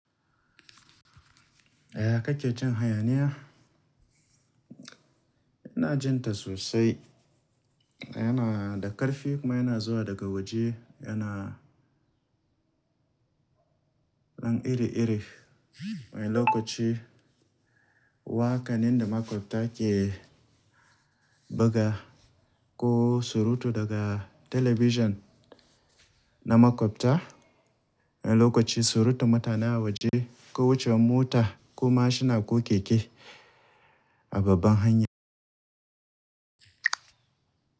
Yaya kake jin hayaniya? Ina jin ta sosai. Yana da ƙarfi kuma yana zuwa daga waje, yana nan iri-iri. Wani lokaci waƙa ne da maƙwabta ke buga ko surutu daga talabijin na maƙwabta. Wani lokaci surutan mutane a waje ko wucewar mota ko mashina ko keke a babban hanya.